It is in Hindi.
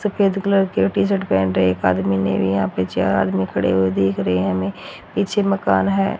सफेद कलर की ये टी-शर्ट पहन रहे एक आदमी ने भी यहां पर चार आदमी खड़े हुए दिख रहे है हमे पीछे मकान है।